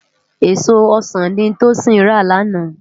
Ésó ọsan ni Tosin rá làná